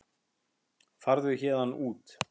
Farðu héðan út.